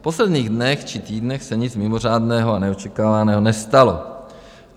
V posledních dnech či týdnech se nic mimořádného a neočekávaného nestalo.